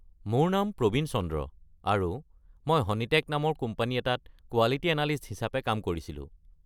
মোৰ নাম প্ৰবীন চন্দ্ৰ আৰু মই হনীটেক নামৰ কোম্পানী এটাত কোৱালিটী এনালিষ্ট হিচাপে কাম কৰিছিলোঁ।